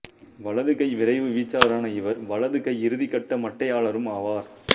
வலது கை விரைவு வீச்சாளரான இவர் வலது கை இறுதிக்கட்ட மட்டையாளரும் ஆவார்